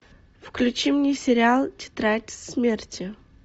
включи мне сериал тетрадь смерти